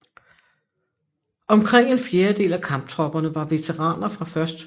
Omkring en fjerdedel af kamptropperne var veteraner fra 1